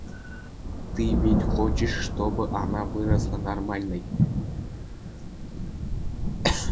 ты ведь хочешь чтобы она выросла нормальной